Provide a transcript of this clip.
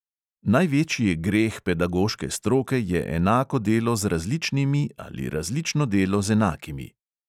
"Največji greh pedagoške stroke je enako delo z različnimi ali različno delo z enakimi."